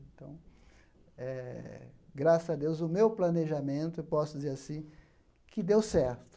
Então eh, graças a Deus, o meu planejamento, eu posso dizer assim, que deu certo.